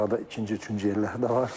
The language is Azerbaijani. Arada ikinci, üçüncü yerləri də var.